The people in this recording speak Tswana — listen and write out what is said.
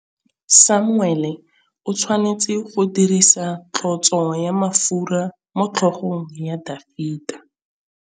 Samuele o tshwanetse go dirisa tlotsô ya mafura motlhôgong ya Dafita.